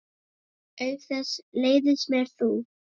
Auk þess leiðist mér þú.